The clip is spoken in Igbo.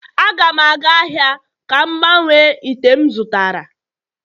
A ga m aga ahia ka m gbanwee ite m zụtara..